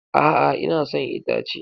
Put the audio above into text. A'a, ina son itace.